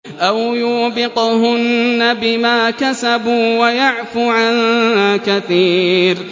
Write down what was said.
أَوْ يُوبِقْهُنَّ بِمَا كَسَبُوا وَيَعْفُ عَن كَثِيرٍ